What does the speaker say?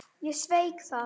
Ég sveik það.